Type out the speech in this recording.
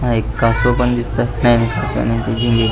हा एक कासव पण दिसतयनी तो कासव नी तो जिंग आहे.